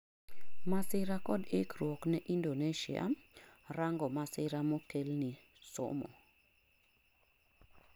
masira kod ikruok ne Indonesia , rango masira mokelni somo